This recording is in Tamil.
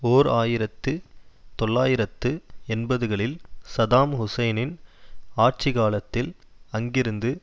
ஓர் ஆயிரத்தி தொள்ளாயிரத்து எண்பதுகளில் சதாம் ஹுசைனின் ஆட்சி காலத்தில் அங்கிருந்து